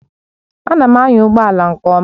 Ana m anya ụgbọ ala nke ọma